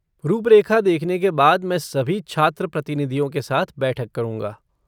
रूपरेखा देखने के बाद मैं सभी छात्र प्रतिनिधियों के साथ बैठक करूँगा।